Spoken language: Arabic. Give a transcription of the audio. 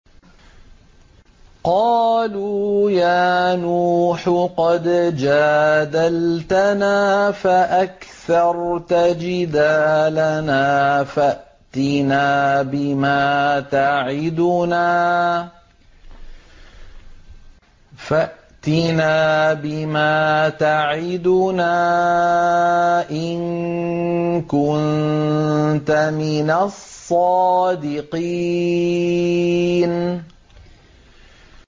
قَالُوا يَا نُوحُ قَدْ جَادَلْتَنَا فَأَكْثَرْتَ جِدَالَنَا فَأْتِنَا بِمَا تَعِدُنَا إِن كُنتَ مِنَ الصَّادِقِينَ